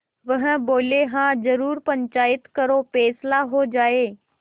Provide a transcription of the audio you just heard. वह बोलेहाँ जरूर पंचायत करो फैसला हो जाय